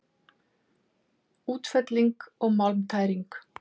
Útfelling og málmtæring